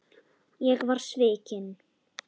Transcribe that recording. Ég var svikinn